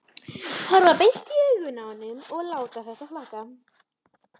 Horfa beint í augun á honum og láta þetta flakka.